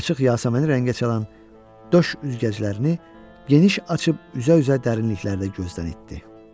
Açıq yasəmənə rəngə çalan döş üzgəclərini geniş açıb üzə-üzə dərinliklərdə gözdən itdi.